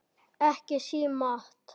Ekki símaat!